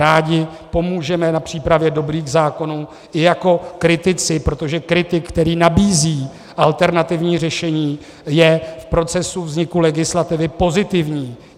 Rádi pomůžeme na přípravě dobrých zákonů i jako kritici, protože kritik, který nabízí alternativní řešení, je v procesu vzniku legislativy pozitivní.